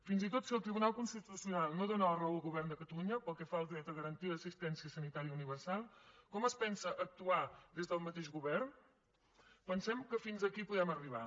fins i tot si el tribunal constitucional no dóna la raó al govern de catalunya pel que fa al dret a garantir l’assistència sanitària universal com es pensa actuar des del mateix govern pensem que fins aquí podem arribar